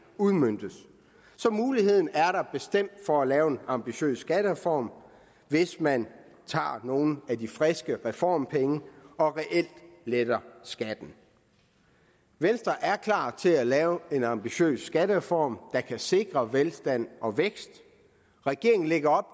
udmøntes så muligheden er der bestemt for at lave en ambitiøs skattereform hvis man tager nogle af de friske reformpenge og reelt letter skatten venstre er klar til at lave en ambitiøs skattereform der kan sikre velstand og vækst regeringen lægger